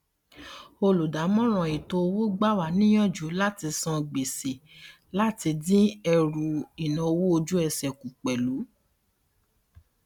olùdámọràn etoowó gbàwà níyàjú láti san gbèsè láti dín ẹrù ináwó ojúesè kù pẹlú